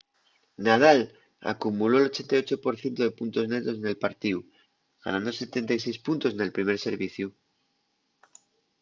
nadal acumuló'l 88% de puntos netos nel partíu ganando 76 puntos nel primer serviciu